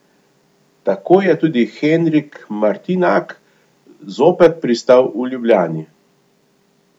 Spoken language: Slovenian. Tako je tudi Henrik Martinak zopet pristal v Ljubljani.